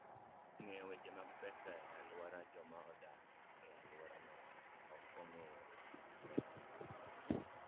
Ng'eyo Weche mag Pesa e Alwora: Joma odak e alworano ok ong'eyo weche mag pesa.